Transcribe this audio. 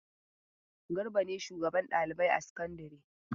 Garba ne shugaban ɗalibai a sakandare.